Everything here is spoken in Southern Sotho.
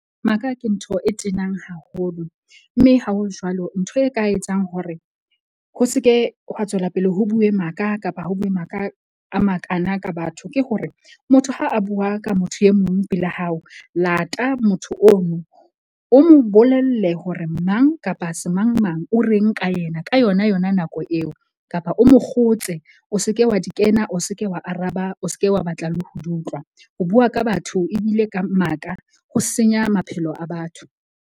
Maka ke ntho e tenang haholo. Mme ha ho jwalo ntho e ka etsang hore ho seke hwa tswela pele ho bue maka kapa ho bue maka a makana ka batho. Ke hore, motho ha a bua ka motho e mong pela hao lata motho ono o mo bolelle hore mang kapa semang mang o reng ka yena, ka yona yona nako eo kapa o mo kgotse o seke wa di kena. O seke wa araba, o seke wa batla le ho di utlwa. Ho bua ka batho ebile ka maka ho senya maphelo a batho.